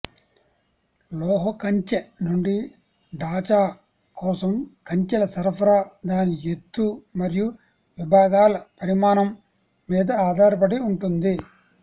లోహ కంచె నుండి డాచా కోసం కంచెల సరఫరా దాని ఎత్తు మరియు విభాగాల పరిమాణం మీద ఆధారపడి ఉంటుంది